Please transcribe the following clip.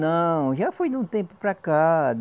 Não, já foi de um tempo para cá.